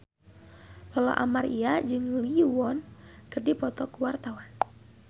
Lola Amaria jeung Lee Yo Won keur dipoto ku wartawan